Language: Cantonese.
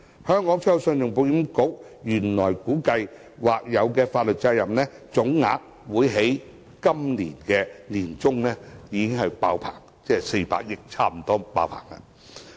信保局原本估計，所負的或有法律責任總額在本年年中滿額，即差不多達400億元。